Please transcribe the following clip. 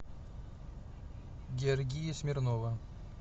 георгия смирнова